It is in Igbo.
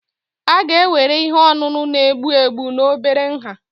a ga-ewere ihe ọṅụṅụ na-egbu egbu na obere nha